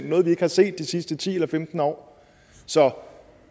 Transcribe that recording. noget vi ikke har set de sidste ti eller femten år så